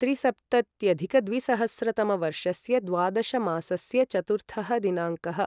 त्रिसप्तत्यधिकद्विसहस्रतमवर्षस्य द्वादशमासस्य चतुर्थः दिनाङ्कः